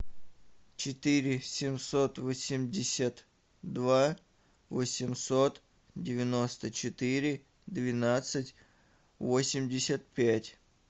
четыре семьсот восемьдесят два восемьсот девяносто четыре двенадцать восемьдесят пять